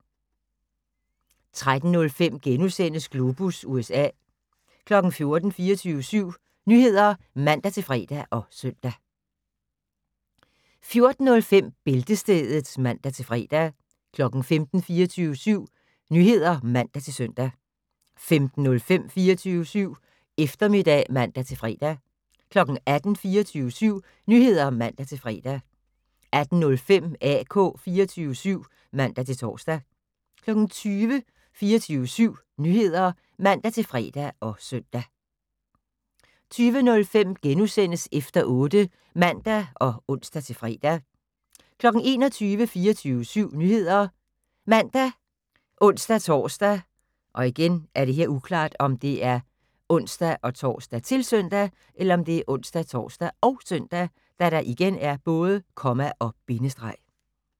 13:05: Globus USA * 14:00: 24syv Nyheder (man-fre og søn) 14:05: Bæltestedet (man-fre) 15:00: 24syv Nyheder (man-søn) 15:05: 24syv Eftermiddag (man-fre) 18:00: 24syv Nyheder (man-fre) 18:05: AK 24syv (man-tor) 20:00: 24syv Nyheder (man-fre og søn) 20:05: Efter 8 *(man og ons-fre) 21:00: 24syv Nyheder ( man, ons-tor, -søn)